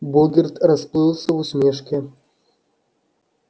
богерт расплылся в усмешке